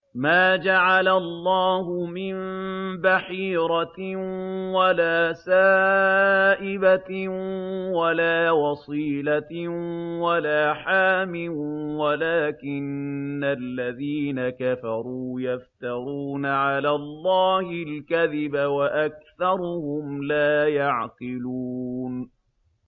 مَا جَعَلَ اللَّهُ مِن بَحِيرَةٍ وَلَا سَائِبَةٍ وَلَا وَصِيلَةٍ وَلَا حَامٍ ۙ وَلَٰكِنَّ الَّذِينَ كَفَرُوا يَفْتَرُونَ عَلَى اللَّهِ الْكَذِبَ ۖ وَأَكْثَرُهُمْ لَا يَعْقِلُونَ